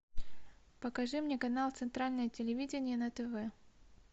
покажи мне канал центральное телевидение на тв